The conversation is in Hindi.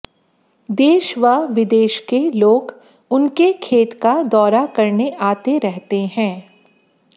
देश व विदेश के लोग उनके खेत का दौरा करने आते रहते हैं